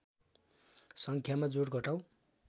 सङ्ख्यामा जोड घटाउ